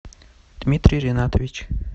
дмитрий ринатович